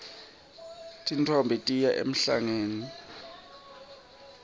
tintfombi tiya emhlangeni